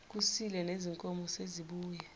kusile nezinkomo sezibuye